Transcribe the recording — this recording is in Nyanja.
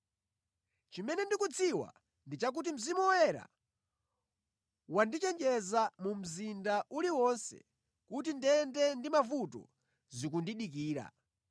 Chimene ndikudziwa ndi chakuti Mzimu Woyera wandichenjeza mu mzinda uliwonse kuti ndende ndi mavuto zikundidikira.